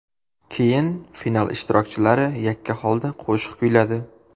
Keyin final ishtirokchilari yakka holda qo‘shiq kuyladi.